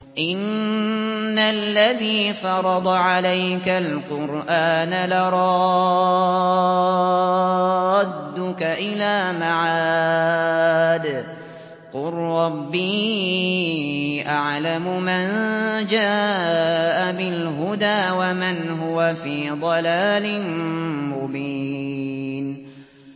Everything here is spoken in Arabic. إِنَّ الَّذِي فَرَضَ عَلَيْكَ الْقُرْآنَ لَرَادُّكَ إِلَىٰ مَعَادٍ ۚ قُل رَّبِّي أَعْلَمُ مَن جَاءَ بِالْهُدَىٰ وَمَنْ هُوَ فِي ضَلَالٍ مُّبِينٍ